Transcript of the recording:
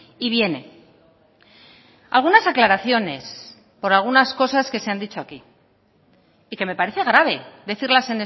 y viene algunas aclaraciones por algunas cosas que se han dicho aquí y que me parece grave decirlas